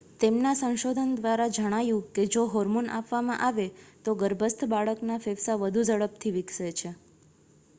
તેમના સંશોધન દ્વારા જણાયું કે જો હોર્મોન આપવામાં આવે તો ગર્ભસ્થ બાળકના ફેફસાં વધુ ઝડપથી વિકસે છે